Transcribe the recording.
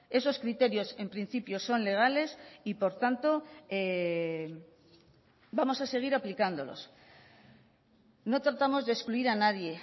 esos criterios en principio son legales y por tanto vamos a seguir aplicándolos no tratamos de excluir a nadie